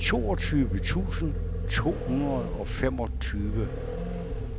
toogtyve tusind to hundrede og femogtyve